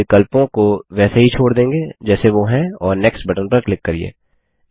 यहाँ हम विकल्पों को वैसे ही छोड़ देंगे जैसे वो हैं और नेक्स्ट पर क्लिक करिये